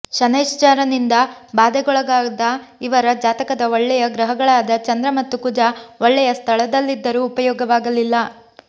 ಶನೈಶ್ಚರನಿಂದ ಬಾಧೆಗೊಳಗಾದ ಇವರ ಜಾತಕದ ಒಳ್ಳೆಯ ಗ್ರಹಗಳಾದ ಚಂದ್ರ ಮತ್ತು ಕುಜ ಒಳ್ಳೆಯ ಸ್ಥಳದಲ್ಲಿದ್ದರೂ ಉಪಯೋಗವಾಗಲಿಲ್ಲ